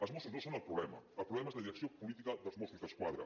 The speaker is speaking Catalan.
els mossos no són el problema el problema és la direcció política dels mossos d’esquadra